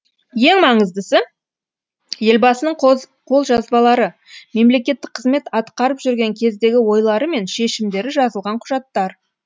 ең маңыздысы елбасының қолжазбалары мемлекеттік қызмет атқарып жүрген кездегі ойлары мен шешімдері жазылған құжаттар